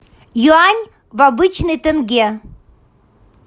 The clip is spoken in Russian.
юань в обычный тенге